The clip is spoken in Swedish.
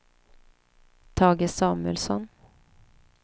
Tage Samuelsson